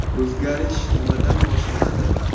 O‘zgarish nimadan boshlanadi?